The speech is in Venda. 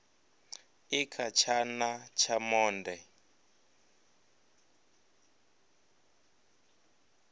i kha tshana tsha monde